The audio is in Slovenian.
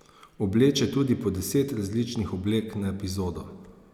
Obleče tudi po deset različnih oblek na epizodo.